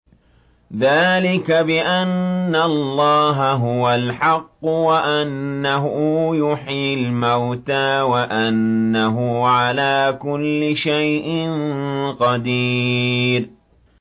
ذَٰلِكَ بِأَنَّ اللَّهَ هُوَ الْحَقُّ وَأَنَّهُ يُحْيِي الْمَوْتَىٰ وَأَنَّهُ عَلَىٰ كُلِّ شَيْءٍ قَدِيرٌ